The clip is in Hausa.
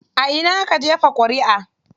A ina aka jefa ƙuriʼa?